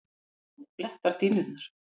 Blóð blettar dýnurnar.